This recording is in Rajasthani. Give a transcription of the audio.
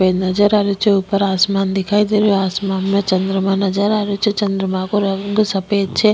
नजर आ रेहो छे ऊपर आसमान दिखाई दे रेहो आसमान में चन्द्रमा नजर आ रेहो छे चन्द्रमा को रंग सफेद छे।